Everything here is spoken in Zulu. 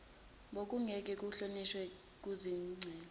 bokungeke kuhlonishwe kuzicelo